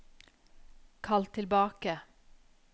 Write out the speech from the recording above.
kall tilbake